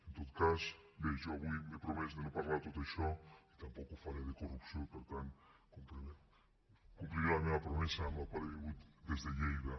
en tot cas bé jo avui m’he promès de no parlar de tot això i tampoc ho faré de corrupció i per tant compliré la meva promesa amb la qual he vingut des de lleida